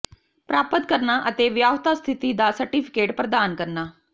ਪ੍ਰਾਪਤ ਕਰਨਾ ਅਤੇ ਵਿਆਹੁਤਾ ਸਥਿਤੀ ਦਾ ਸਰਟੀਫਿਕੇਟ ਪ੍ਰਦਾਨ ਕਰਨਾ